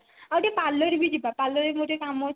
ଆଉ ଟିକେ parlour ବି ଯିବା parlour ରେ ମୋର ଟିକେ କମ ଅଛି ତ